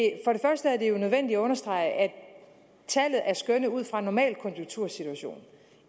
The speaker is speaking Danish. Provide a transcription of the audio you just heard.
er jo nødvendigt at understrege at tallet er skønnet ud fra en normalkonjunktursituation